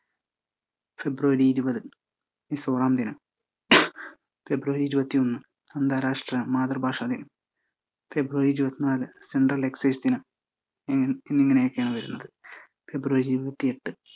ഫെബ്രുവരി ഇരുപത് മിസോറാം ദിനം ഫെബ്രുവരി ഇരുപത്തിയൊന്ന് അന്തരാഷ്ട്ര മാതൃഭാഷ ദിനം, ഫെബ്രുവരി ഇരുപത്തിനാല് central excise ദിനം, ഇങ്ങനെയൊക്കെയാണ് വരുന്നത്. ഫെബ്രുവരി ഇരുപത്തിയെട്ട്